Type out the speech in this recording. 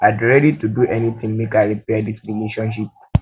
i dey ready to do anytin make i repair dis relationship